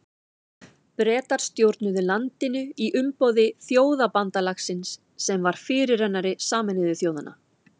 Bretar stjórnuðu landinu í umboði Þjóðabandalagsins sem var fyrirrennari Sameinuðu þjóðanna.